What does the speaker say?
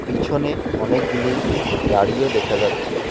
পিছনে অনেকগুলি গাড়িও দেখা যাচ্ছে।